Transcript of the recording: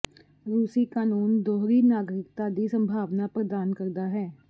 ਰੂਸੀ ਕਾਨੂੰਨ ਦੋਹਰੀ ਨਾਗਰਿਕਤਾ ਦੀ ਸੰਭਾਵਨਾ ਲਈ ਪ੍ਰਦਾਨ ਕਰਦਾ ਹੈ